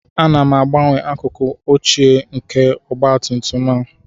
Ana m agbanwe akụkụ ochie nke ọgba tum tum a